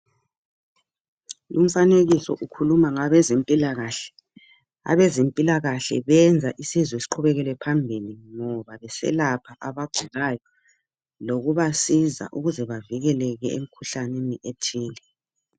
Umfanekiso ukhuluma ngabezempilakahle, abezempilakahle benza insizwe sikhubeke phambili ngoba beselapha abagulayo lokubasiza ukuze bevikeleke emkhuhlaneni ethile.